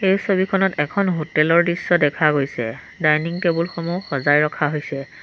এই ছবিখনত এখন হোটেল ৰ দৃশ্য দেখা গৈছে ডাইনিং টেবুল সমূহ সজাই ৰখা হৈছে।